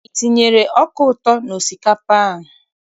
I tinyere ọka ụtọ n'osikapa a?